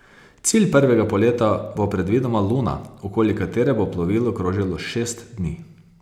Cilj prvega poleta bo predvidoma luna, okoli katere bo plovilo krožilo šest dni.